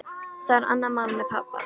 Það er annað mál með pabba.